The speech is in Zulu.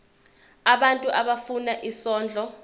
abantu abafuna isondlo